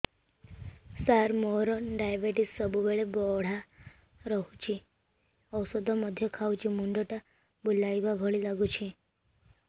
ସାର ମୋର ଡାଏବେଟିସ ସବୁବେଳ ବଢ଼ା ରହୁଛି ଔଷଧ ମଧ୍ୟ ଖାଉଛି ମୁଣ୍ଡ ଟା ବୁଲାଇବା ଭଳି ଲାଗୁଛି